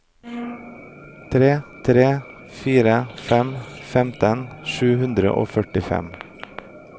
tre tre fire fem femtien sju hundre og førtifem